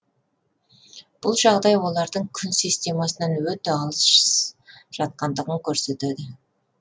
бұл жағдай олардың күн системасынан өте алыс жатқандығын көрсетеді